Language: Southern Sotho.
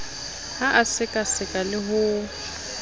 ha a sekaseka le ho